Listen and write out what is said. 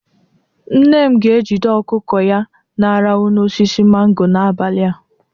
Nne m ga-ejide ọkụkọ ya na-arahụ n'osisi mango n'abalị a.